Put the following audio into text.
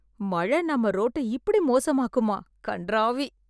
மழை நம்ம ரோட்ட இப்படி மோசமாக்குமா கன்றாவி